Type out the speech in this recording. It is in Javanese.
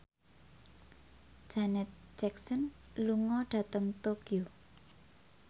Janet Jackson lunga dhateng Tokyo